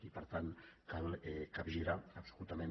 i per tant cal capgirar absolutament